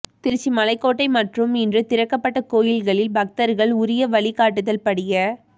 திருச்சி மலைக்கோட்டை மற்றும் இன்று திறக்கப்பட்ட கோவில்களில் பக்தர்கள் உரிய வழி காட்டுதல் படிய